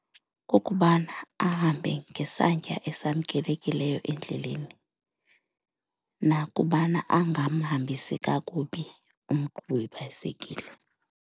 Kukubana ahambe ngesantya esamkelekileyo endleleni nakubana angamhambisi kakubi umqhubi webhayisekile.